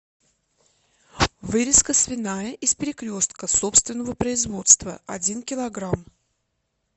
вырезка свиная из перекрестка собственного производства один килограмм